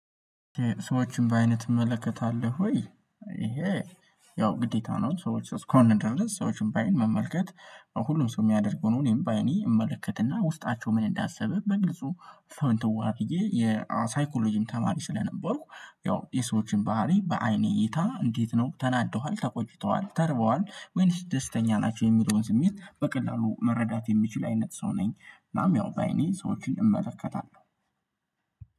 ሰዎችን በአይንህ ትመለከታለህ ወይ? ይሄ ያው ግዴታ ነው ሰዎች እስከ እስከሆን ድረስ ሰዎችን በአይን መመልከት ሁሉም ሰው የሚያደርገው ነው። እኔም በአይኔ እመለከትና ውስጣቸው ምን እንዳሰበ በግልጹ። ሰውን ተዋህዶ የሳይኮሎጂም ተማሪ ስለነበርኩ ያው የሰዎችን ባህሪ በአይኔ እይታ እንዴት ነው? ተናደዋል ተቆጭተዋል ተርበዋል ወይስ ደስተኛ ናቸው የሚለውን ስሜት በቀላሉ መረዳት የሚችል አይነት ሰው ነኝ። እናም ያው በአይኔ ሰዎችን እመለከታለሁ